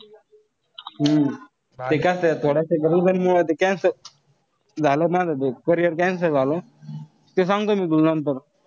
हम्म ते कसय पण ते cancel झालं माझं ते. carrier cancel झालं. ते सांगतो मी तुला नंतर.